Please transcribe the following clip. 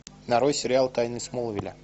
нарой сериал тайны смолвиля